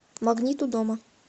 магнит у дома